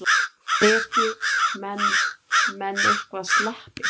Breki: Menn, menn eitthvað slappir?